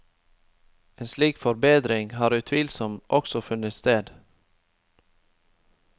En slik forbedring har utvilsomt også funnet sted.